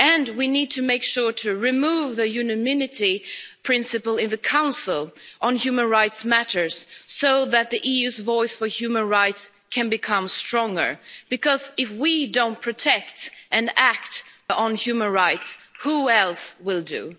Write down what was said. We need to make sure to remove the unanimity principle in the Council on human rights matters so that the EU's voice on human rights can become stronger because if we don't protect and act on human rights, who else will do?